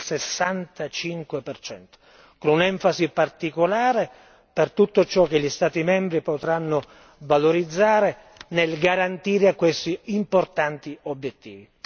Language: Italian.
65. Con un'enfasi particolare per tutto ciò che gli Stati membri potranno valorizzare nel garantire questi importanti obiettivi.